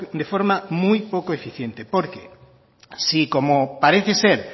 de forma muy poco eficiente porque si como parece ser